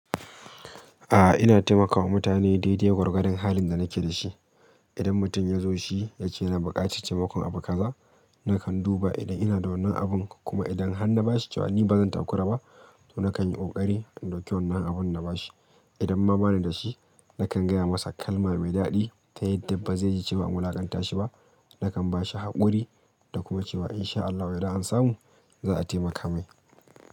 A'a ina taimakawa mutane daidai gwargwadon halin da nake da shi. Idan mutum ya zo shi yake yana buƙaci taimakon abu kaza, nakan duba idan ina da wannan abun kuma idan han na bashi jawabi ba zan takura ba to nakan yi ƙoƙari in dauki wannan abun na bashi. Idan ma bani da shi nakan gaya masa kalma mai daɗi ta yadda bazai ji cewa an wulaƙanta shi ba. Nakan ba shi haƙuri da kuma cewa in sha Allahu idan an samu za'a taimaka mai.